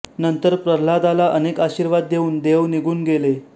नंतर प्रल्हादाला अनेक आशीर्वाद देऊन देव निघून गेले